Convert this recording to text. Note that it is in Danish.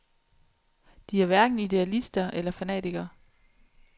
De er hverken idealister eller fanatikere.